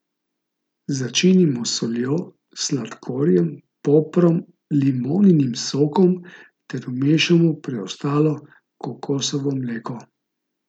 Začinimo s soljo, sladkorjem, poprom, limoninim sokom ter vmešamo preostalo kokosovo mleko.